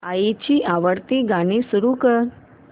आईची आवडती गाणी सुरू कर